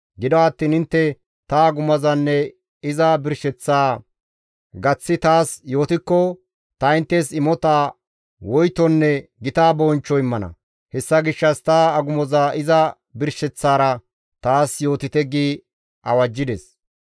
Gido attiin intte ta agumozanne iza birsheththaa gaththi taas yootikko ta inttes imota, woytonne gita bonchcho immana; hessa gishshas ta agumoza iza birsheththaara taas yootite» gi awajjides.